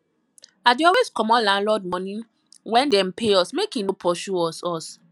i dey always comot landlord moni wen dem pay us make e no pursue us us